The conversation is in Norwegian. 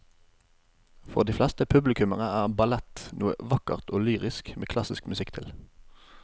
For de fleste publikummere er ballett noe vakkert og lyrisk med klassisk musikk til.